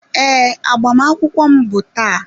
Ee, agbamakwụkwọ m bụ taa.